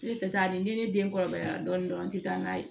Ne tɛ taa ni ne den kɔrɔbayara dɔɔni dɔrɔn n tɛ taa n'a ye